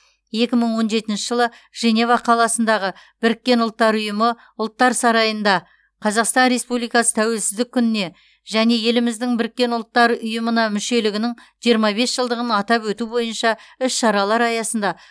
екі мың он жетінші жылы женева қаласындағы біріккен ұлттар ұйымы ұлттар сарайында қазақстан республикасы тәуелсіздік күніне және еліміздің біріккен ұлттар ұйымына мүшелігінің жиырма бес жылдығын атап өту бойынша іс шаралар аясында